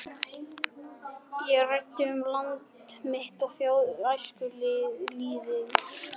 Ég ræddi um land mitt og þjóð, um æskulýðinn.